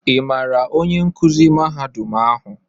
Ị maara onye nkuzi mahadum ahụ?